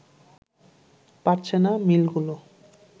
পারছে না মিলগুলো